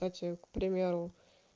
кстати к примеру